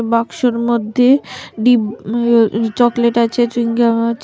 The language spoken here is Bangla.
বাক্সর মধ্যে ডিম উ চকলেট আছে চুইংগাম আছে।